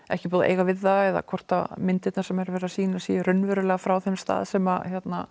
ekki búið að eiga við það eða hvort að myndirnar sem er verið að sýna séu raunverulega frá þeim stað sem